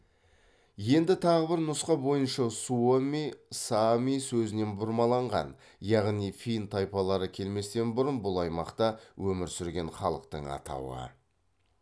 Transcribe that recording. енді тағы бір нұсқа бойынша суоми саами сөзінен бұрмаланған яғни фин тайпалары келместен бұрын бұл аймақта өмір сүрген халықтың атауы